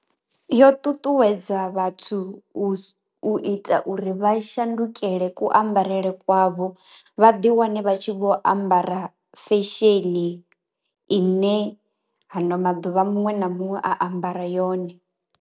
Yo ṱuṱuwedza vhathu u ita uri vha shandukela ku ambarele kwavho vha ḓi wane vha tshi vho ambara fesheni ine hano maḓuvha muṅwe na muṅwe a ambara yone.